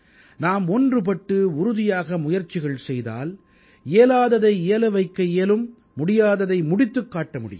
நாம் ஒன்றுபட்டு உறுதியாக முயற்சிகள் செய்தால் இயலாததை இயல வைக்க இயலும் முடியாததை முடித்துக் காட்ட முடியும்